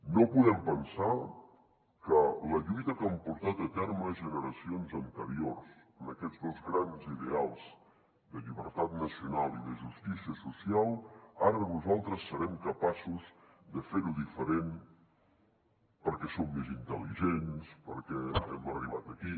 no podem pensar que la lluita que han portat a terme generacions anteriors en aquests dos grans ideals de llibertat nacional i de justícia social ara nosaltres serem capaços de fer ho diferent perquè som més intel·ligents perquè hem arribat aquí